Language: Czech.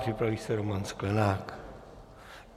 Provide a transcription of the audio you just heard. Připraví se Roman Sklenák.